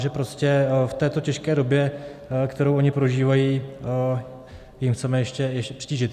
Že prostě v této těžké době, kterou oni prožívají, jim chceme ještě přitížit.